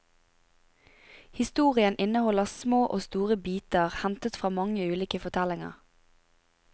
Historien inneholder små og store biter hentet fra mange ulike fortellinger.